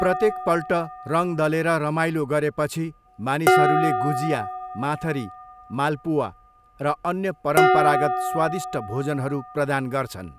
प्रत्येकपल्ट रङ दलेर रमाइलो गरेपछि मानिसहरूले गुजिया, माथरी, माल्पुवा र अन्य परम्परागत स्वादिष्ट भोजनहरू प्रदान गर्छन्।